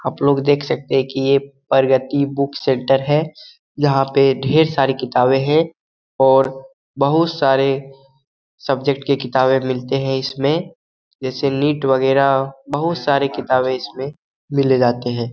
आप लोग देख सकते है की ये परगति बुक सेंटर है यहाँ पे ढेर सारी किताबें हैं और बहुत सारे सब्जेक्ट के किताबें मिलते है इसमे जैसे नीट वेगएरा बहुत सारे किताबें इसमे मिले जाते है।